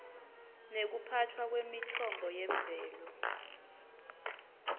nekuphatfwa kwemitfombo yemvelo